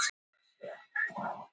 Nýr formaður Heimdallar